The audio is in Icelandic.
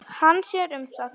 Hann sér um það.